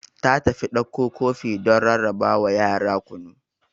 Ta tafi dakko kofi don ra rarrabawa yara kunu.